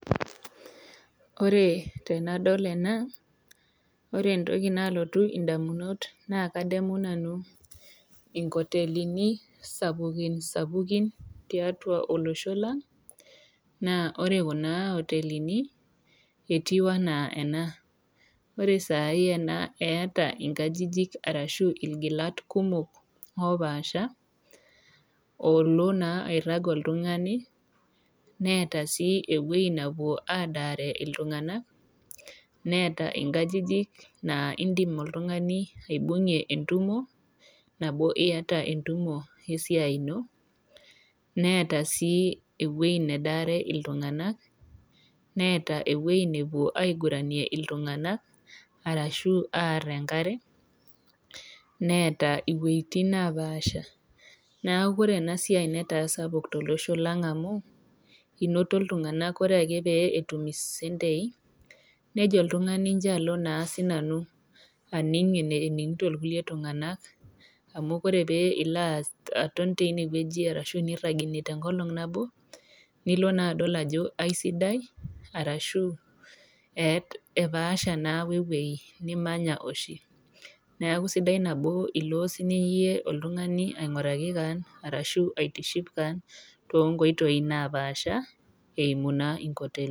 Ore tenadol ena naa ore entoki nalotu indamunot naa kadamu nanu inkotelini sapukin sapukin tiatua olosho naa ore kuna oteleini naa etiu ena naa eeta nkajijik arashu ilgilat kumok opasha , olona naa airag oltungani neeta sii ewuei nepuo adaare iltunganak, neeta inkajijik naa indim oltungani aibungie entumo nabo iyata entumo esiai ino , neeta ewuei nepuo aiguranie iltunganak arashu aar enkare , neeta iwuetin nepasha .Niaku ore enasiai netaa sapuk tolosho lang amu inoto iltunganak ,ore ake pee etum isentei , nejo oltungani injo alo sinanu aning eneningito iltunganak amu ore pee ilo aton tinewueji arashu nirag ine tenkolong nabo , nilo naa adol ajo aisidai ashu epaasha naa wewuei nimanya oshi .